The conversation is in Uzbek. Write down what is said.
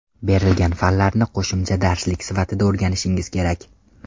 Berilgan fanlarni qo‘shimcha darslik sifatida o‘rganishingiz kerak.